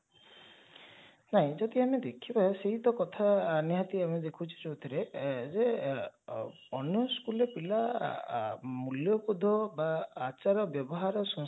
ନାଇଁ ଯଦି ଆମେ ଦେଖିବା ସେଇ ତ କଥା ନିହାତି ଆମେ ଦେଖୁଛେ ଯଉଥିରେ ଯେ ଅନ୍ୟ school ରେ ପିଲା ମୂଲ୍ଯବୋଧ ବା ଆଚାର ବ୍ୟବହାର ସଂସ୍କାରଠୁ